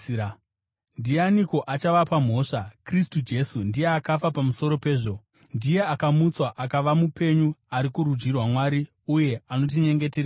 Ndianiko achavapa mhosva? Kristu Jesu, ndiye akafa pamusoro pezvo, ndiye akamutswa akava mupenyu, ari kurudyi rwaMwari, uye anotinyengetererawo.